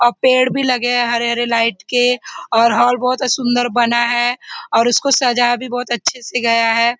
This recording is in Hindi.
और पेड़ भी लगे है हरे हरे लाइट के और हॉल बहुत सुन्दर बना है और उसको सजाया भी बहुत अच्छे से गया है।